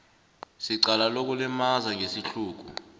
secala lokulimaza ngesihluku